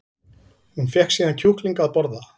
Hún fékk síðan kjúkling að borða